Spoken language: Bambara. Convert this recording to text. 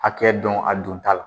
Hakɛ dɔn a don ta la.